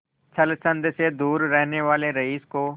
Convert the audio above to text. छल छंद से दूर रहने वाले रईस को